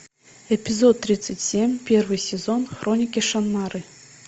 эпизод тридцать семь первый сезон хроники шаннары